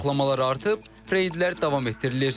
Yoxlamalar artıb, reydlər davam etdirilir.